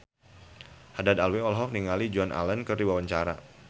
Haddad Alwi olohok ningali Joan Allen keur diwawancara